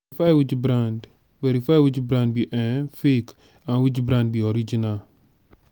verify which brand verify which brand be um fake and which brand be original